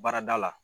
Baarada la